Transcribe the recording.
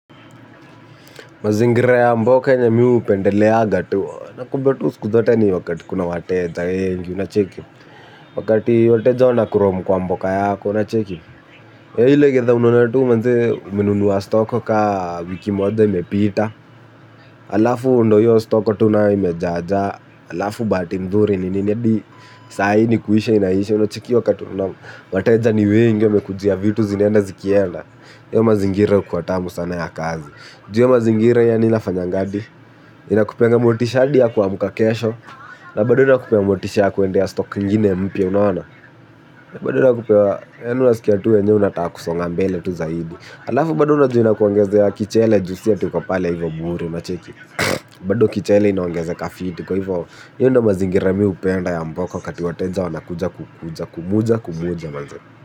Mazingira ya mboka yenye mi hupendeleaga tu, nakwambia tu siku zote ni wakati kuna wateja wengi. Wakati wateja wanakurom kwa mboka yako unacheki. Ile kitha unanunua tu manzee umenunua stock ka wiki moja imepita. Alafu ndo hiyo stock tu nayo imejaa jaa. Alafu bahati nzuri ninedi sai ni kuisha inaisha unachukia wakati wateja ni wengi wamekujia vitu zinaenda zikienda hayo mazingira hukuwa tamu sana ya kazi. Jua mazingira yanaweza fanyangani, inakupeanga motisha hadi ya kuamka kesho, na bado inakupea motisha ya kwendea ya stock nyingine ya mpya unaona. Na bado inakupea yaani unasikia tu wenye wanataka kusonga mbele tu zaidi. Halafu bado unajua inakuongezea ya kichele, juu si tuko pale hivyo muru, unacheki. Bado kichele inaongezeka fit, kwahivyo mi ndo mazingira mi hupenda ya mboka wakati wateja wamekuja moja kumoja mazee.